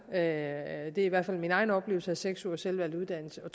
er i hvert fald min egen opfattelse af seks ugers selvvalgt uddannelse og